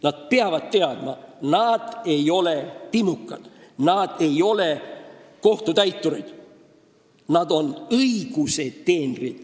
Nad peavad teadma, et nad ei ole timukad ega kohtutäiturid, vaid nad on õiguse teenrid.